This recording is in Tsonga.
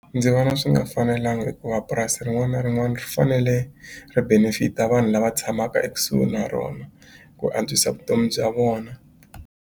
Ndzi vona swi nga fanelanga hikuva purasi rin'wana na rin'wana ri fanele ri benefit-a vanhu lava tshamaka ekusuhi na rona ku antswisa vutomi bya vona.